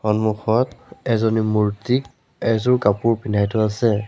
সন্মুখত এজনী মূৰ্ত্তিক এজোৰ কাপোৰ পিন্ধাই থোৱা আছে।